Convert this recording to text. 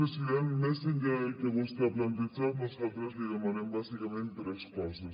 president més enllà del que vostè ha plantejat nosaltres li demanem bàsicament tres coses